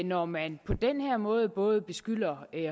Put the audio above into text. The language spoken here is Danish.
når man på den her måde både beskylder